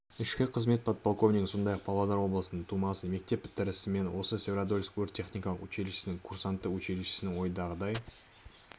ішкі қызмет подполковнигі сондай-ақ павлодар облысының тумасы мектеп бітірісімен ол свердловск өрт-техникалық училищесінің курсанты училищені ойдағыдай